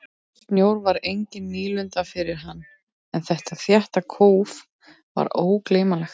Snjór var engin nýlunda fyrir hann en þetta þétta kóf var ógleymanlegt.